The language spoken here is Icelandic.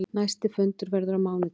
Næsti fundur verður á mánudag.